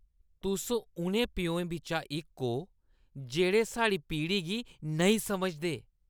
तुस उ'नें प्योएं बिच्चा इक ओ जेह्ड़े साढ़ी पीढ़ी गी नेईं समझदे।